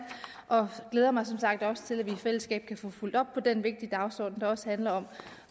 og jeg glæder mig som sagt også til at vi i fællesskab kan få fulgt op på den vigtige dagsorden der også handler